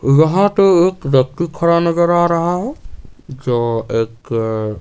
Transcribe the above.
वहां पे एक व्यक्ति खड़ा नजर आ रहा है जो एक--